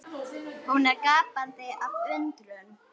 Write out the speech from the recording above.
Hún er gapandi af undrun.